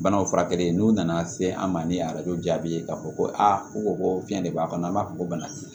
Banaw furakɛli n'u nana se an ma ni arajo jaabi ye k'a fɔ ko a u ko ko fiɲɛ de b'a kɔnɔ an b'a fɔ ko bana t'i